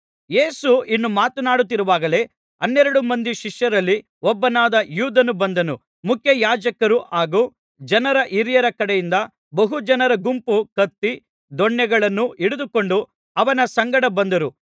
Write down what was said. ಯೇಸು ಇನ್ನೂ ಮಾತನಾಡುತ್ತಿರುವಾಗಲೇ ಹನ್ನೆರಡು ಮಂದಿ ಶಿಷ್ಯರಲ್ಲಿ ಒಬ್ಬನಾದ ಯೂದನು ಬಂದನು ಮುಖ್ಯಯಾಜಕರ ಹಾಗು ಜನರ ಹಿರಿಯರ ಕಡೆಯಿಂದ ಬಹು ಜನರ ಗುಂಪು ಕತ್ತಿ ದೊಣ್ಣೆಗಳನ್ನು ಹಿಡಿದುಕೊಂಡು ಅವನ ಸಂಗಡ ಬಂದರು